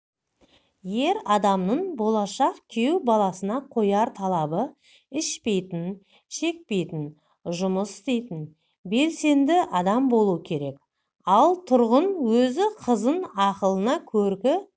ер адамның болашақ күйеу баласына қояр талабы ішпейтін шекпейтін жұмыс істейтін белсенді адам болу керек ал тұрғын өзі қызын ақылына көркі